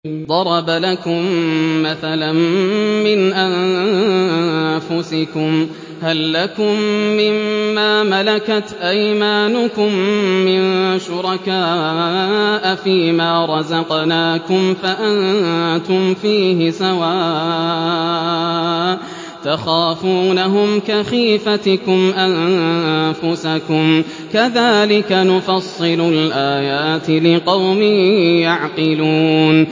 ضَرَبَ لَكُم مَّثَلًا مِّنْ أَنفُسِكُمْ ۖ هَل لَّكُم مِّن مَّا مَلَكَتْ أَيْمَانُكُم مِّن شُرَكَاءَ فِي مَا رَزَقْنَاكُمْ فَأَنتُمْ فِيهِ سَوَاءٌ تَخَافُونَهُمْ كَخِيفَتِكُمْ أَنفُسَكُمْ ۚ كَذَٰلِكَ نُفَصِّلُ الْآيَاتِ لِقَوْمٍ يَعْقِلُونَ